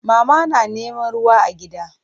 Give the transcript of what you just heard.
Mama na neman ruwa a gida.